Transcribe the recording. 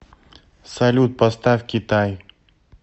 салют поставь китай